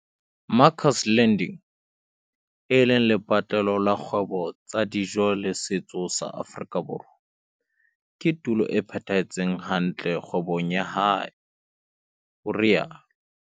Makers Landing, e leng lepatlelo la dikgwebo tsa dijo le setso sa Afrika Borwa, ke tulo e phethahetseng hantle kgwebong ya hae, o rialo.